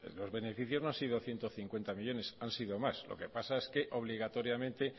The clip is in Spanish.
los beneficios no han sido ciento cincuenta millónes han sido más lo que pasa es que obligatoriamente